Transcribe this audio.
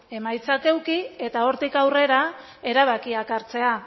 emaitzak eduki eta hortik aurrera erabakiak hartzea